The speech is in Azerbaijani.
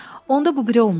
Onda bu biri olmalı idi.